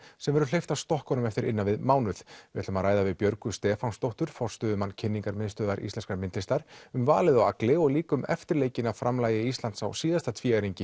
sem verður hleypt af stokkunum eftir innan við mánuð við ætlum að ræða við Björgu Stefánsdóttur forstöðumann kynningarmiðstöðvar íslenskrar myndlistar um valið á Agli og líka um eftirleikinn af framlagi Íslands á síðasta